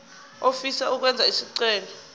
ofisa ukwenza isicelo